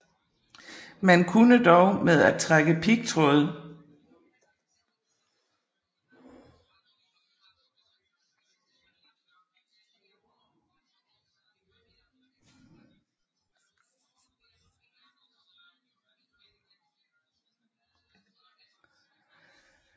Man kunne dog med at trække pigtråd